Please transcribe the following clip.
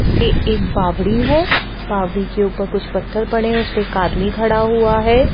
ऐ एक बावड़ी है बावड़ी के ऊपर कुछ पत्थर पड़े हुए उसपे एक आदमी खड़ा हुआ है।